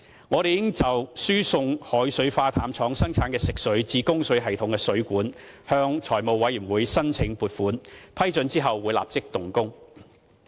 我們已就輸送海水化淡廠生產的食水至供水系統的水管，向財務委員會申請撥款，批准後會立即動工。